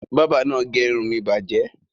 Bábà náà gé irun mi bàjẹ́?